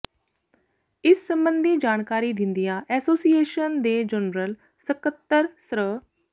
ਇਸ ਸਬੰਧੀ ਜਾਣਕਾਰੀ ਦਿੰਦਿਆਂ ਐਸੋਸੀਏਸ਼ਨ ਦੇ ਜਨਰਲ ਸਕੱਤਰ ਸ੍ਰ